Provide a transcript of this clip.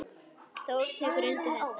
Þór tekur undir þetta.